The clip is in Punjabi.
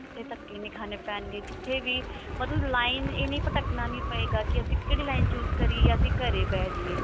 ਕਿਤੇ ਧੱਕੇ ਨਹੀ ਖਾਣੇ ਪੈਣਗੇ ਕਿਤੇ ਵੀ ਮਤਲਬ line ਇਹ ਨੀ ਭਟਕਨਾ ਨਹੀ ਪਵੇਗਾ ਕੀ ਅਸੀਂ ਕਿਹੜੀ line choose ਕਰੀਏ ਯਾ ਅਸੀਂ ਘਰੇ ਬੈਠ ਜਾਈਏ